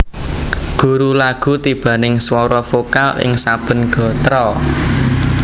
Guru lagu tibaning swara vokal ing saben gatra